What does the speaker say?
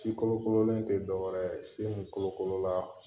Si kolokololen tɛ dɔwɛrɛ ye min kolokolola